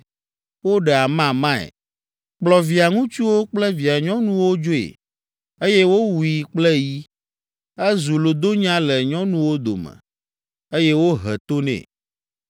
Woɖe amamae, kplɔ via ŋutsuwo kple via nyɔnuwo dzoe, eye wowui kple yi. Ezu lodonya le nyɔnuwo dome, eye wohe to nɛ.